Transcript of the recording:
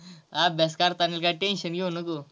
अभ्यास करताना काय tension घेऊ नको.